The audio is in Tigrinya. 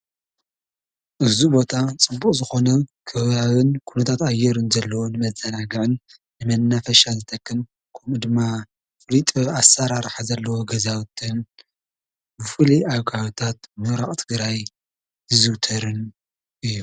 እዚ ቦታ ፅቡቁ ዝኮነ ከባቢ ኩነታት ኣየርነ ዘሎዎ ንመዛናግዒን መናፈሻ ዝጠቅም ከምኡ ደማ ፉሊዩ ጥበብ ኣሳራራሓ ዘሎዎ ገዛዉቲን አዚ ፍሉይ ኣብ ከባቢታት ምዕራብ ትግራይ ዝዝዉተረነ እዩ፡፡